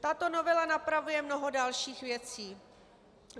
Tato novela napravuje mnoho dalších věcí.